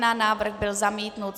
Návrh byl zamítnut.